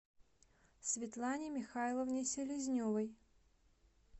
светлане михайловне селезневой